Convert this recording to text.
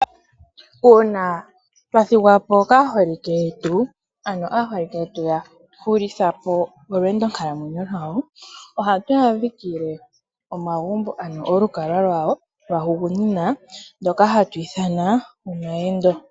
Uuna twathingwapo kaholike yetu, ano aholike yetu yahulithapo olwendo nkalamwenyo lwawo oha twadhikile omagumbo ano olukalwa lwawo lwahungunina ndoka hatwithana omayendo.